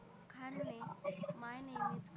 खान ने my name is